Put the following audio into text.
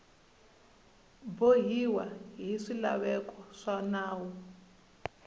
bohiwa hi swilaveko swa nawu